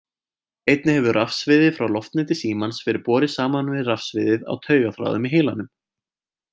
Einnig hefur rafsviðið frá loftneti símans verið borið saman við rafsviðið á taugaþráðum í heilanum.